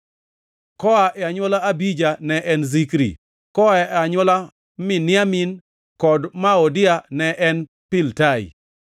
koa e anywola Abija ne en Zikri; koa e anywola Miniamin kod Moadia ne en Piltai;